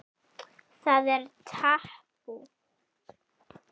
Það er tabú.